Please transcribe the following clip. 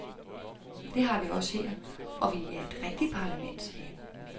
Det har vi også her, og vi er et rigtigt parlament, sagde han.